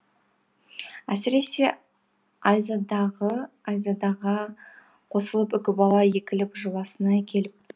әсіресе айзадаға қосылып үкібала егіліп жыласын ай келіп